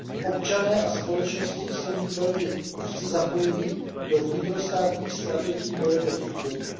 občané a společnosti jsou nyní velmi úzce zapojeni do vnitrostátních strategií boje proti chudobě